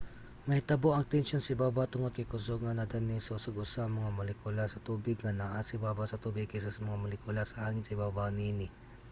mahitabo ang tensyon sa ibabaw tungod kay kusog nga nadani sa usag-usa ang mga molekula sa tubig nga naa sa ibabaw sa tubig kaysa sa mga molekula sa hangin sa ibabaw niini